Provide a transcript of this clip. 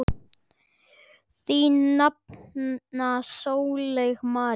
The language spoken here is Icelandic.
Þín nafna Sólveig María.